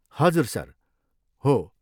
हजुर सर, हो ।